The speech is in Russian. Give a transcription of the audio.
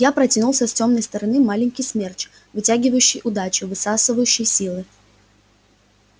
я протянулся с тёмной стороны маленький смерч вытягивающий удачу высасывающий силы